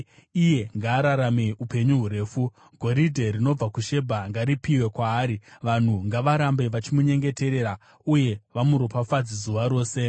Iye ngaararame upenyu hurefu! Goridhe rinobva kuShebha ngaripiwe kwaari. Vanhu ngavarambe vachimunyengeterera uye vamuropafadze zuva rose.